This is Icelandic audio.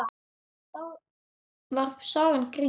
Þá var sagan grín.